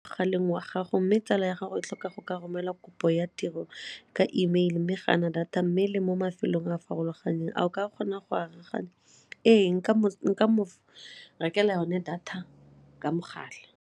wa gago mme tsala ya gago e tlhoka go ka romela kopo ya tiro ka E mail mme ga a na data mme le mo mafelong a farologaneng a o ka kgona go arogana? Ee, nka mo rekela yone data ka mogala.